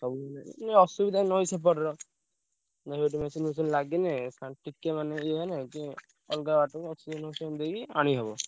ଇଏ ଅସୁବିଧା ନଈ ସେପଟର। ନାଇଁ ସେଠି machine ଫେସନି ଲାଗିଲେ ଆଉ ଟିକେ ମାନେ ଇଏ ହେଲେ ଟିକେ ଅଲଗା ବାଟରେ machine ଫେସନି ଦେଇ ଆଣିହବ।